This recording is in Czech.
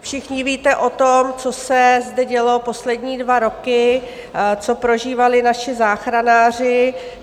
Všichni víte o tom, co se zde dělo poslední dva roky, co prožívali naši záchranáři.